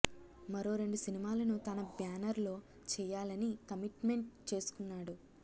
మరో రెండు సినిమాలను తన బ్యానర్ లో చేయాలని కమిట్మెంట్ చేసుకున్నాడు